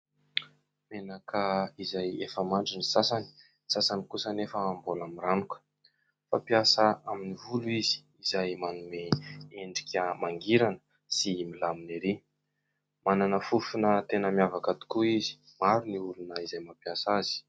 Menaka izay efa mandry ny sasany ; ny sasany kosa anefa mbola miranoka ; fampiasa amin'ny volo izy izay manome endrika mangirana sy milamina ery ; manana fofona tena miavaka tokoa izy ; maro ny olona izay mampiasa azy.